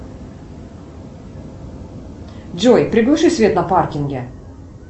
джой приглуши свет на паркинге